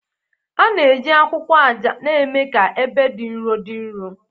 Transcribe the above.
A na-eji akwụkwọ aja na-eme ka ebe dị nro dị nro